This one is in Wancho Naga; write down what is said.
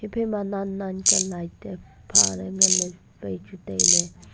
ephai ma nan nan kya light te pha ley ngan ley chu tailey.